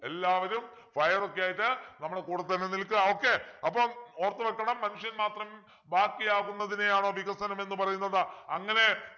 എല്ലാവരും fire ഒക്കെയായിട്ട് നമ്മുടെ കൂടെ തന്നെ നിൽക്കുക okay അപ്പൊ ഓർത്തുവെക്കണം മനുഷ്യൻ മാത്രം ബാക്കിയാവുന്നതിനെയാണോ വികസനം എന്ന് പറയുന്നത് അങ്ങനെ